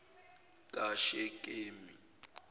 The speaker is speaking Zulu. kashekemi